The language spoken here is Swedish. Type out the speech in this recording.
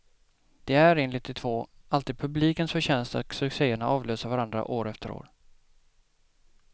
Det är, enligt de två, alltid publikens förtjänst att succéerna avlöser varandra år efter år.